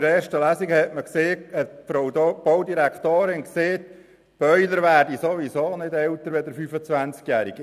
In der ersten Lesung hat die Baudirektorin gesagt, Boiler würden ohnehin nicht älter als 25 Jahre.